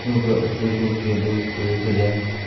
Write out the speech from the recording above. और ऊपर ऊपर जो गेंदों के फूलों से सजाया गया है।